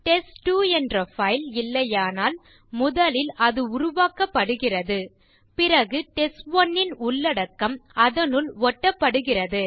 test two என்ற file இல்லையானால் முதலில் அது உருவாக்கப்படுகிறது பிறகு டெஸ்ட்1 ன் உள்ளடக்கம் அதனுள் ஒட்டப்படுகிறது